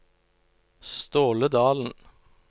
Ståle Dalen